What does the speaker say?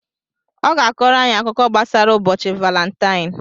ọ ga-akọrọ anyị akụkọ gbasara ụbọchị Valentaịn.